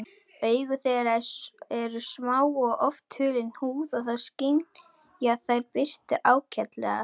Augu þeirra eru smá og oft hulin húð en þó skynja þær birtu ágætlega.